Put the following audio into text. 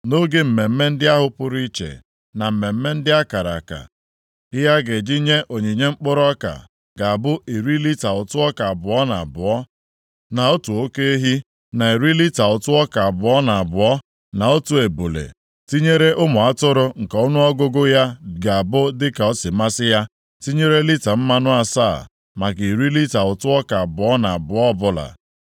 Nʼoge mmemme ndị ahụ pụrụ iche, na mmemme ndị akara aka, ihe a ga-eji nye onyinye mkpụrụ ọka ga-abụ iri lita ụtụ ọka abụọ na abụọ, na otu oke ehi, na iri lita ụtụ ọka abụọ na abụọ na otu ebule, tinyere ụmụ atụrụ nke ọnụọgụgụ ya ga-abụ dịka o si masị ya, tinyere lita mmanụ asaa maka iri lita ụtụ ọka abụọ na abụọ ọbụla.